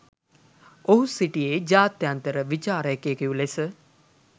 ඔහු සිටියේ ජාත්‍යන්තර විචාරකයකු ලෙස